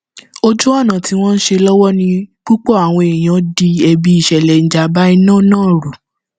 ojú ọnà tí wọn ń ṣe lọwọ ni púpọ àwọn èèyàn di ẹbi ìṣẹlẹ ìjàmbá iná náà rú